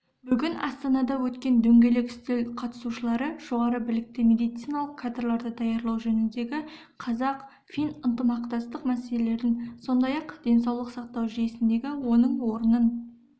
бүгін астанада өткен дөңгелек үстел қатысушылары жоғары білікті медициналық кадрларды даярлау жөніндегі қазақ-фин ынтымақтастық мәселелерін сондай-ақ денсаулық сақтау жүйесіндегі оның орнын